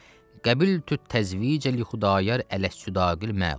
Qəbiltü təzvicə li Xudayar ələs sudaqil məlum.